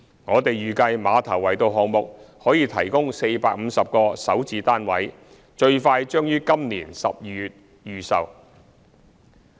我們預計馬頭圍道項目可提供450個首置單位，最快將於今年12月預售。